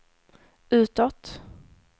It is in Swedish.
utåt